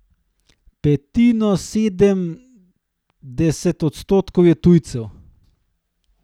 Petinosemdeset odstotkov je tujcev.